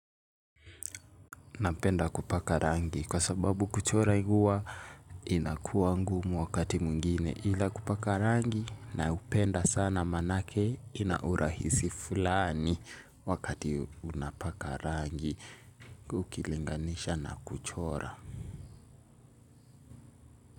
Napenda kupaka rangi kwa sababu kuchora huwa inakuwa ngumu wakati mwingine ila kupaka rangi na upenda sana manake ina urahisi fulani wakati unapaka rangi ukilinganisha na kuchora.